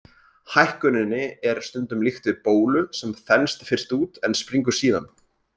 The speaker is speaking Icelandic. Hækkuninni er stundum líkt við bólu, sem þenst fyrst út en springur síðan.